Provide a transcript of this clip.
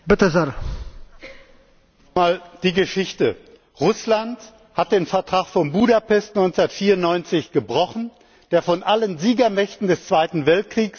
Noch mal zur Geschichte Russland hat den Vertrag von Budapest von 1994 gebrochen, der von allen Siegermächten des Zweiten Weltkriegs unterschrieben worden war.